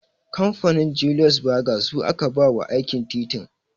Kamfanin 'Julius Berger' su aka ba wa aikin titin